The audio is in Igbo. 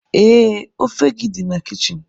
Ee, ofe gị dị na kichin.